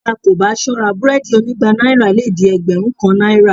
Bí a kò bá sọ́ra búrẹ́ẹ́dì onígba náírà lè di ẹgbẹ̀rún kan náírà